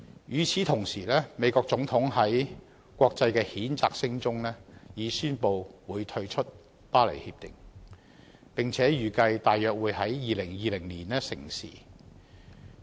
與此同時，美國總統在國際譴責聲中已宣布會退出《協定》，並且預計約於2020年成事。